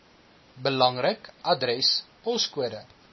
belangrik adres poskode